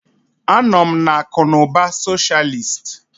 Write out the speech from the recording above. Anọ m na akụ na ụba socialist.